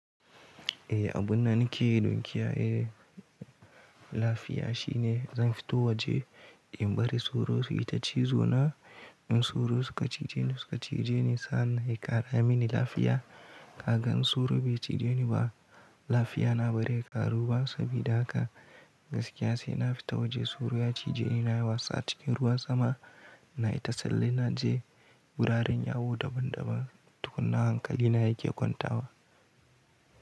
Eh, abun da nake don kiyaye lafiya shine zan fito waje in bari soro su yi ta cizo na. In soro suka cije ni, suka cije ni sannan ya ƙara mini lafiya. Kaga in soro bai cije ni ba, lafiya na bazai ya ƙaru ba sabida haka gaskiya sai na fita waje soro ya cije ni na yi wasa cikin ruwan sama na yi ta tsalle na je wuraren yawo daban daban tukuna hankali na yake kwanta wa.